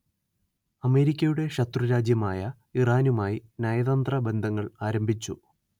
അമേരിക്കയുടെ ശത്രുരാജ്യമായ ഇറാനുമായി നയതന്ത്ര ബന്ധങ്ങൾ ആരംഭിച്ചു